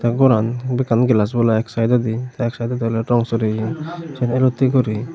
ei goran bekkan glass bola ek saidodi tey ek saidodi oley rang soreyon siyen elottey guri.